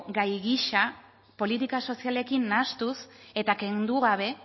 gai gisa politika sozialekin nahastuz eta kendu gabe